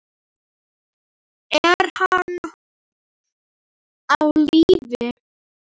Er hann á lífi?